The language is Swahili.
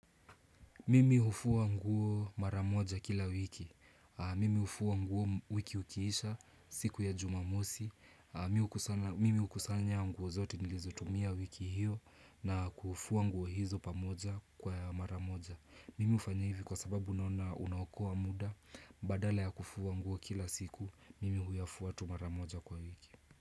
Mimi hufuwa nguo mara moja kila wiki. Mimi hufuwa nguo wiki ukiisha siku ya jumamosi. Mi Mimi hukusanya nguo zote nilizotumia wiki hiyo na kufuwa nguo hizo pamoja kwa mara moja. Mimi ufanya hivi kwa sababu naona unaokoa muda. Badala ya kufua nguo kila siku, mimi huyafua tu maramoja kwa wiki.